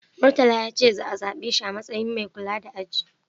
Murtala ya ce za'a zabe shi a matsayin mai kula da aji.